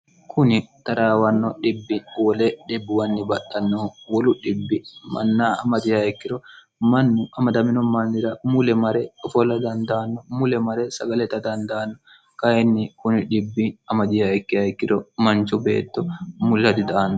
kuni taraawanno dhibbi wole dhibbuwanni baxtannohu wolu dhibbi manna amadihayikkiro mannu amadamino malnira mule mare ofolla dandaanno mule mare sagaleta dandaanno kayinni kuni dhibbi amadihaikki hayikkiro manchu beetto mulira dida anno